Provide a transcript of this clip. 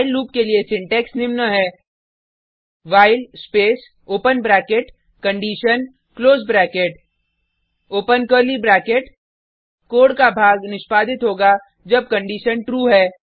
while loop के लिए syntax निम्न है while space open bracket condition close bracket close bracket open curly bracket code का भाग निष्पादित होगा जब कंडिशन ट्रू है